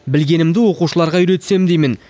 білгенімді оқушыларға үйретсем деймін